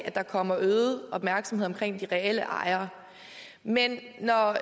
at der kommer øget opmærksomhed omkring de reelle ejere men når